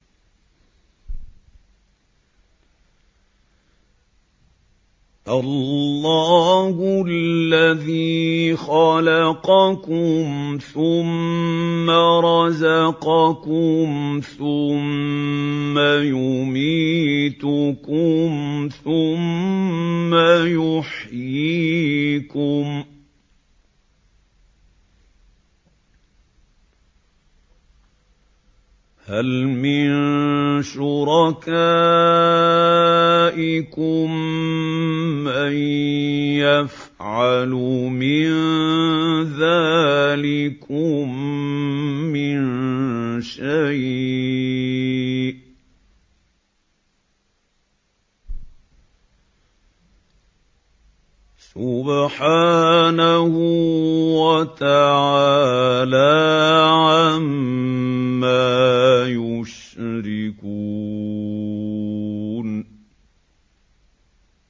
اللَّهُ الَّذِي خَلَقَكُمْ ثُمَّ رَزَقَكُمْ ثُمَّ يُمِيتُكُمْ ثُمَّ يُحْيِيكُمْ ۖ هَلْ مِن شُرَكَائِكُم مَّن يَفْعَلُ مِن ذَٰلِكُم مِّن شَيْءٍ ۚ سُبْحَانَهُ وَتَعَالَىٰ عَمَّا يُشْرِكُونَ